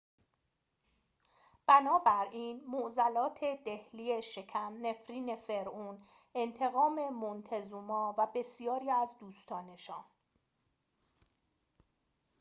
بنابراین معضلات دهلی شکم نفرین فرعون انتقام مونتزوما و بسیاری از دوستانشان